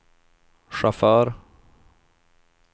chaufför